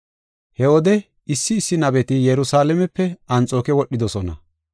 He wode issi issi nabeti Yerusalaamepe Anxooke wodhidosona.